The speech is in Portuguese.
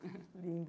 Lindo